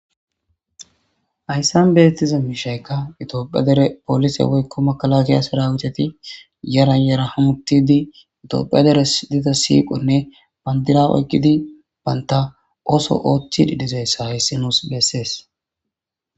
Haysa betiza mishayka itophiya dere police woyko makalakaya serawiteti yaran yaran hamutidi tophiya de'es diza siqone bandira oyqidi banta oso othidi dizaysa haysi nus beses